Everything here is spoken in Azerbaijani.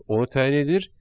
Onu təyin edir.